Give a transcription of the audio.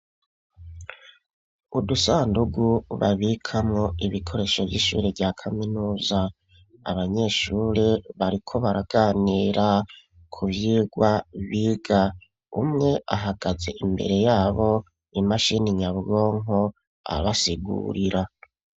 Udusandugu babikamo ibikoresho vy'ishure rya kaminuza, abanyeshuri bariko baraganira ku vyigwa biga, umwe ahagaze imbere yabo imashini nyabwonko abasigurira.